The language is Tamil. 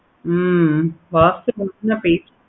ஹம்